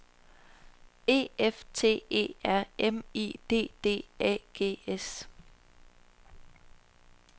E F T E R M I D D A G S